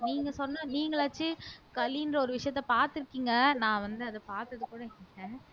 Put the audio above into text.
நீங்க சொன்ன நீங்களாச்சும் களின்ற ஒரு விஷயத்த பார்த்திருக்கீங்க நான் வந்து அத பாத்ததுகூட இல்ல